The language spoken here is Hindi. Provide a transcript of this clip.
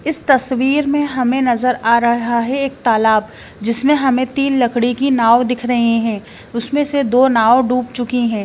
इस तस्वीर में हमें नजर आ रहा है एक तालाब जिसमें हमें तीन लकड़ी की नाव दिख रहे हैं उसमें से दो नाव डूब चुकी हैं।